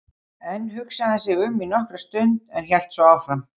Enn hugsaði hann sig um í nokkra stund en hélt svo áfram